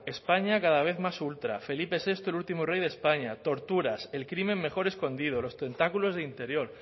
españa cada vez más ultra felipe sexto el último rey de españa torturas el crimen mejor escondido los tentáculos de interior